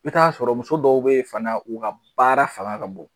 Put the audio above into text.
Bi taa sɔrɔ muso dɔw be yen fana u ka baara fanga ka bon.